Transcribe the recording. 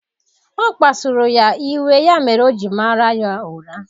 Ọ kpasuru ya iwe ya mere o ji mara ya ụra